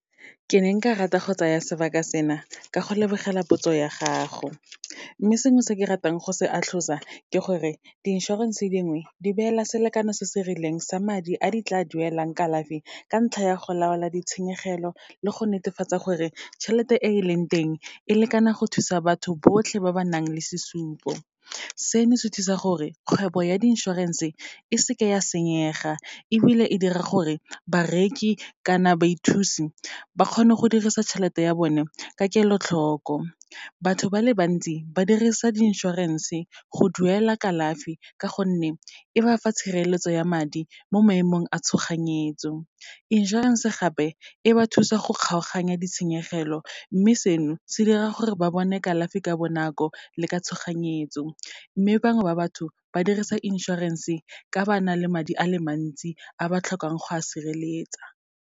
Ke ne nka rata go tsaya sebaka sena ka go lebogela potso ya gago, mme sengwe se ke ratang go se atlhosa ke gore, di inšorense dingwe, di beela selekano se se rileng sa madi a di tla duelang kalafi, ka ntlha ya go laola ditshenyegelo le go netefatsa gore tšhelete e e leng teng, e lekana go thusa batho botlhe ba ba nang le sesupo. Seno se thusa gore, kgwebo ya di inšorense e seke ya senyega, ebile e dira gore bareki kana baithusi ba kgone go dirisa tšhelete ya bone ka kelotlhoko. Batho ba le bantsi ba dirisa di inšorense go duela kalafi, ka gonne e ba fa tshireletso ya madi mo maemong a tshoganyetso. Inšorense gape, e ba thusa go kgaoganya ditshenyegelo, mme seno se dira gore ba bone kalafi ka bonako le ka tshoganyetso. Mme bangwe ba batho, ba dirisa insurance-e ka ba na le madi a le mantsi, a ba tlhokang go a sireletsa.